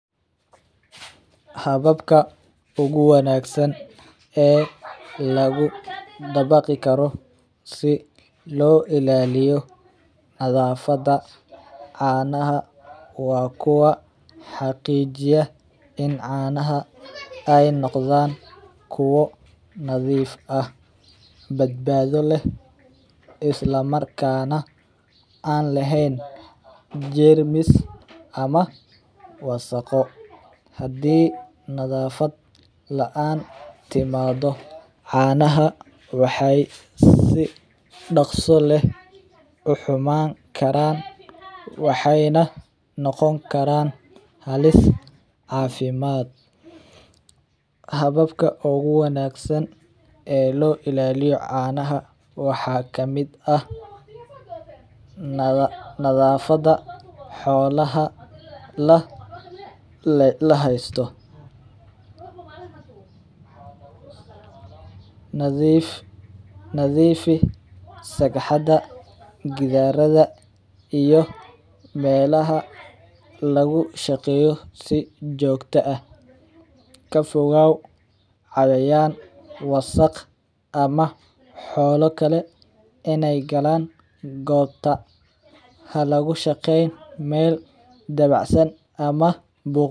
Hababka oguwanagsan e lagudabaqi karo si loilaliyo nadafada canaha wa kuwa hagijiyain canaha ay nogda kuwa nadif ah badbado leh , islamarkana an lahen jermis ama wasaqo, hadhi nadafad laan timato canaha waxay si daqso leh uhuman karaan waxyna nogon karaan halis cafimad hababka oguwanagsan ee loilaliyo canaha waxa kamid ah nadafada xoolaha lahaysto, nafifi sabahada qiradada iyo melaha lagushageyo si jogta ah, kafogaw cayayan wasaq ama xoola kale inay qalaan gobabta halagushageyo mel dabacsan ama.